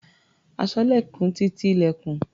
Aṣọ́lẹ̀kùn ti ti ilẹ̀kùn.